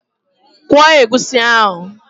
Kwọọ egusi ahụ!